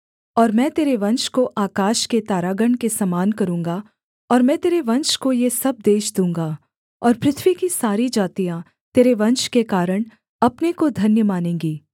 और मैं तेरे वंश को आकाश के तारागण के समान करूँगा और मैं तेरे वंश को ये सब देश दूँगा और पृथ्वी की सारी जातियाँ तेरे वंश के कारण अपने को धन्य मानेंगी